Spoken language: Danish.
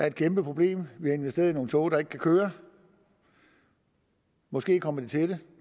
et kæmpeproblem vi har investeret i nogle tog der ikke kan køre måske kommer de til det